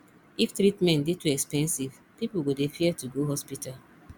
if treatment dey too expensive pipo go dey fear to go hospital